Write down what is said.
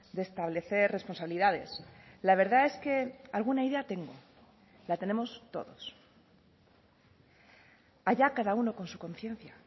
de establecer responsabilidades la verdad es que alguna idea tengo la tenemos todos allá cada uno con su conciencia